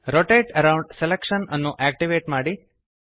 rotate around selection ಅನ್ನು activate ಮಾಡಿ